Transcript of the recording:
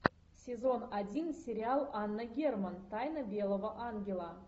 сезон один сериал анна герман тайна белого ангела